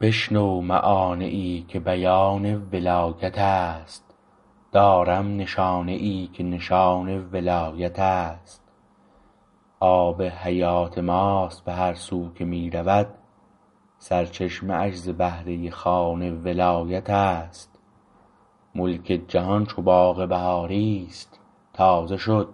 بشنو معانیی که بیان ولایتست دارم نشانیی که نشان ولایتست آب حیات ماست به هر سو که می رود سرچشمه اش ز بهره خوان ولایتست ملک جهان چو باغ بهاری است تازه شد